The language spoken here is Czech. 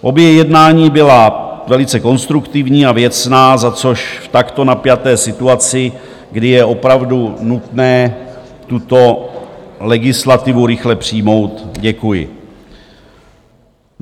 Obě jednání byla velice konstruktivní a věcná, za což v takto napjaté situaci, kdy je opravdu nutné tuto legislativu rychle přijmout, děkuji.